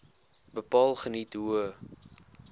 bepaal geniet hoë